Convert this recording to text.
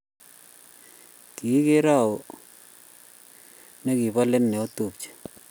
Kigeere au negibolet notupche?